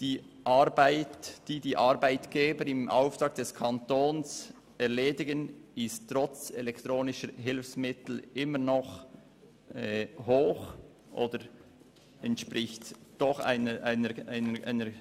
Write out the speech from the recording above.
Der Aufwand für die Arbeitgeber ist trotz elektronischer Hilfsmittel immer noch hoch oder zumindest erheblich.